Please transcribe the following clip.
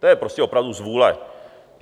To je prostě opravdu zvůle.